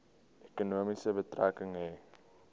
ekonomie betrekking hê